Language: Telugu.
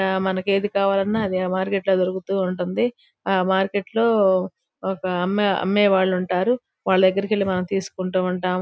ఇక్కడ మనకి ఏది కావాలన్నా ధీ మార్కెట్ లో దొరుకుతూ ఉంటుంది. ఆ మార్కెట్ లో ఒక అమ్మే అమ్మేవాళ్ళుంటారు. వాలా దగ్గరికి వెళ్లి మనం తీసుకుంటా ఉంటాము.